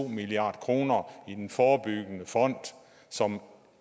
milliard kroner i den forebyggende fond som